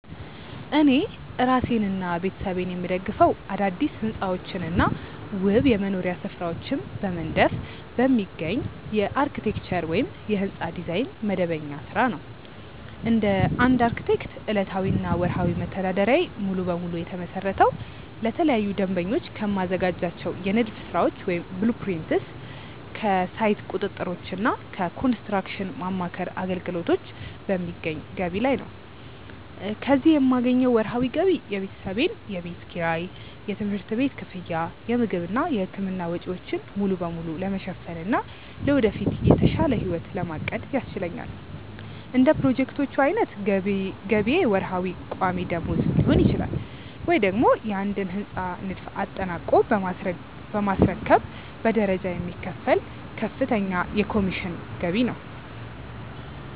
እኔ እራሴንና ቤተሰቤን የምደግፈው አዳዲስ ሕንፃዎችንና ውብ የመኖሪያ ስፍራዎችን በመንደፍ በሚገኝ የአርክቴክቸር (የሕንፃ ዲዛይን) መደበኛ ሥራ ነው። እንደ አንድ አርክቴክት፣ ዕለታዊና ወርሃዊ መተዳደሪያዬ ሙሉ በሙሉ የተመሰረተው ለተለያዩ ደንበኞች ከማዘጋጃቸው የንድፍ ሥራዎች (blueprints)፣ ከሳይት ቁጥጥሮችና ከኮንስትራክሽን ማማከር አገልግሎቶች በሚገኝ ገቢ ላይ ነው። ከዚህ ሥራ የማገኘው ወርሃዊ ገቢ የቤተሰቤን የቤት ኪራይ፣ የትምህርት ቤት ክፍያ፣ የምግብና የሕክምና ወጪዎችን ሙሉ በሙሉ ለመሸፈንና ለወደፊት የተሻለ ሕይወት ለማቀድ ያስችለኛል። እንደ ፕሮጀክቶቹ ዓይነት ገቢዬ ወርሃዊ ቋሚ ደመወዝ ሊሆን ይችላል፤ ወይም ደግሞ የአንድን ሕንፃ ንድፍ አጠናቆ በማስረከብ በደረጃ የሚከፈል ከፍተኛ የኮሚሽን ገቢ ነው።